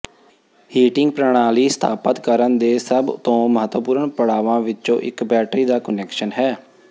heating ਪ੍ਰਣਾਲੀ ਸਥਾਪਤ ਕਰਨ ਦੇ ਸਭ ਤੋਂ ਮਹੱਤਵਪੂਰਣ ਪੜਾਵਾਂ ਵਿੱਚੋਂ ਇਕ ਬੈਟਰੀਆਂ ਦਾ ਕੁਨੈਕਸ਼ਨ ਹੈ